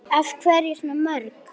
Af hverju svona mörg?